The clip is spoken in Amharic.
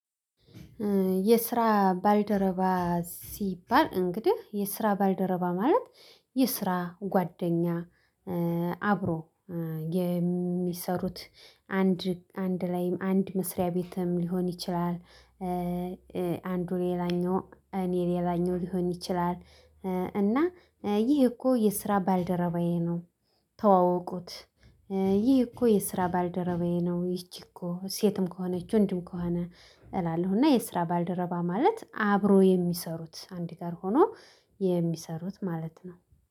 የስራ ባልደረባ ሲባል እንግዲህ የስራ ባልደረባ ማለት የስራ ጓደኛ አብሮ የሚሰሩት አንድ ላይም አንድ መስሪያ ቤትም ሊሆን ይችላል። አንዱ ሌላኛው እኔ ሌላኛው ሊሆን ይችላል። እና ይህ እኮ የስራ ባልደረባዬ ነው። ተዋወቁት ይሄ እኮ የስራ ባልደረባዬ ነው ይቺ እኮ ሴትም ከሆነች ወንድም ከሆነ። እላለሁ እና የስራ ባልደረባ ማለት አብሮ የሚሰሩት አንላይ ሆኖ የሚሰሩት ማለት ነው